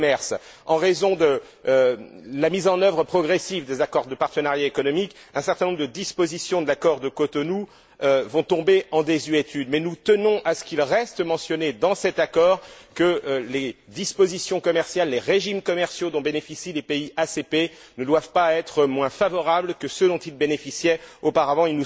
Le commerce en raison de la mise en œuvre des accords de partenariat économique, un certain nombre de dispositions de l'accord de Cotonou vont tomber en désuétude, mais nous tenons à ce qu'il reste mentionné dans cet accord que les dispositions commerciales, les régimes commerciaux dont bénéficient les pays ACP, ne doivent pas être moins favorables que ceux dont ils bénéficiaient auparavant.